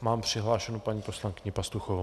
mám přihlášenu paní poslankyni Pastuchovou.